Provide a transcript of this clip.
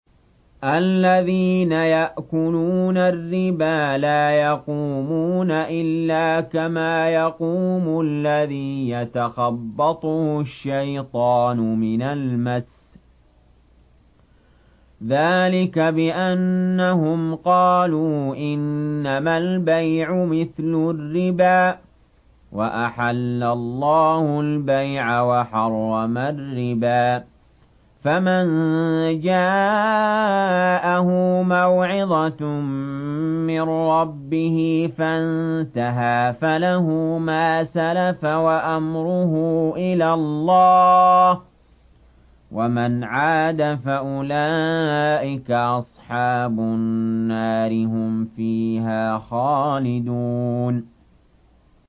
الَّذِينَ يَأْكُلُونَ الرِّبَا لَا يَقُومُونَ إِلَّا كَمَا يَقُومُ الَّذِي يَتَخَبَّطُهُ الشَّيْطَانُ مِنَ الْمَسِّ ۚ ذَٰلِكَ بِأَنَّهُمْ قَالُوا إِنَّمَا الْبَيْعُ مِثْلُ الرِّبَا ۗ وَأَحَلَّ اللَّهُ الْبَيْعَ وَحَرَّمَ الرِّبَا ۚ فَمَن جَاءَهُ مَوْعِظَةٌ مِّن رَّبِّهِ فَانتَهَىٰ فَلَهُ مَا سَلَفَ وَأَمْرُهُ إِلَى اللَّهِ ۖ وَمَنْ عَادَ فَأُولَٰئِكَ أَصْحَابُ النَّارِ ۖ هُمْ فِيهَا خَالِدُونَ